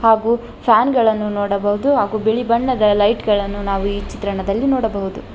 ಹಾಗು ಫ್ಯಾನ್ ಗಳನ್ನು ನೋಡಬಹುದು ಹಾಗು ಬಿಳಿ ಬಣ್ಣದ ಲೈಟ್ ಗಳನ್ನು ನಾವು ಈ ಚಿತ್ರಣದಲ್ಲಿ ನೋಡಬಹುದು.